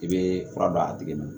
I bɛ fura d'a tigi ma